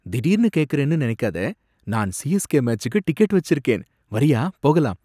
திடீர்னு கேக்குறேன்னு நினைக்காத, நான் சிஎஸ்கே மேச்சுக்கு டிக்கெட் வச்சிருக்கேன், வர்றியா போகலாம்?